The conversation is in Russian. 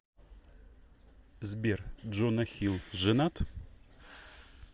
сбер джона хилл женат